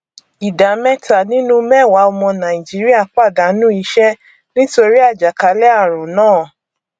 ìdá mẹta nínú mẹwàá ọmọ nàìjíríà pàdánù iṣẹ nítorí àjàkálẹ ààrùn náà